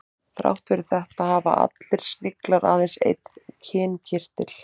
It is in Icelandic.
Þrátt fyrir þetta hafa allir sniglar aðeins einn kynkirtil.